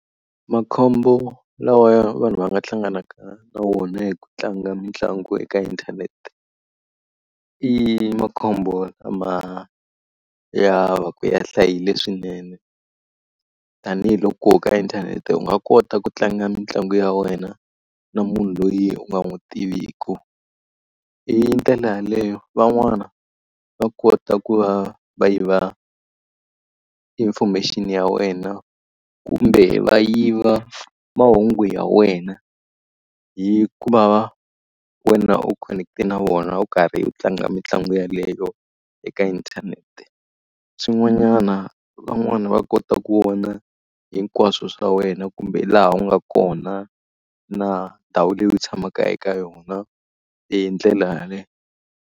Makhombo lawa ya vanhu va nga hlanganaka na wona hi ku tlanga mitlangu eka inthanete, i makhombo lama ya va ku ya hlayile swinene. Tanihi loko ka inthanete u nga kota ku tlanga mitlangu ya wena na munhu loyi u nga n'wi tiviku. Hi ndlela yaleyo van'wana va kota ku va va yiva i information ya wena kumbe va yiva mahungu ya wena hi ku va wena u connect-e na vona u karhi u tlanga mitlangu yeleyo eka inthanete. Swin'wanyana van'wana va kota ku vona hinkwaswo swa wena kumbe laha u nga kona, na ndhawu leyi u tshamaka eka yona hi ndlela yaleyo.